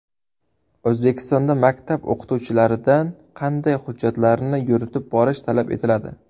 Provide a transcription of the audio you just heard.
O‘zbekistonda maktab o‘qituvchilaridan qanday hujjatlarni yuritib borish talab etiladi?.